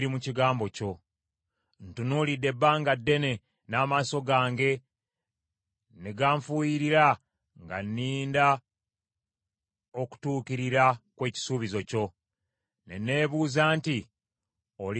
Ntunuulidde ebbanga ddene n’amaaso gange ne ganfuuyirira nga nninda okutuukirira kw’ekisuubizo kyo; ne neebuuza nti, “Olinsanyusa ddi?”